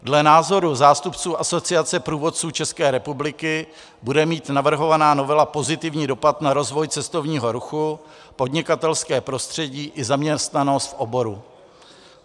Dle názoru zástupců Asociace průvodců České republiky bude mít navrhovaná novela pozitivní dopad na rozvoj cestovního ruchu, podnikatelské prostředí i zaměstnanost v oboru.